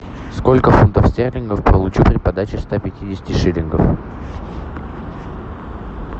сколько фунтов стерлингов получу при подаче ста пятидесяти шиллингов